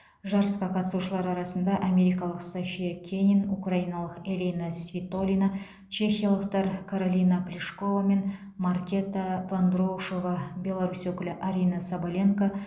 жарысқа қатысушылар арасында америкалық софья кенин украиналық элина свитолина чехиялықтар каролина плишкова мен маркета вондроушова беларусь өкілі арина соболенко